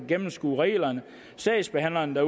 gennemskue reglerne sagsbehandlerne